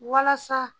Walasa